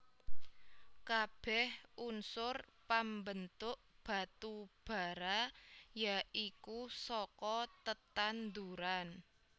Kabèh unsur pambentuk batu bara ya iku saka tetanduran